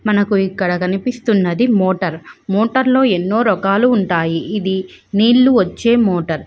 మనకు ఇక్కడ కనిపిస్తున్నది మోటార్ . మోటార్ లో ఎన్నో రకాలు ఉంటాయి. ఇది నీళ్లు వచ్చే మోటర్ .